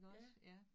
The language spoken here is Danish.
Ja